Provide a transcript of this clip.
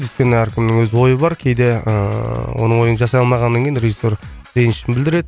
өйткені әркімнің өз ойы бар кейде ыыы оның ойын жасай алмағаннан кейін режиссер ренішін білдіреді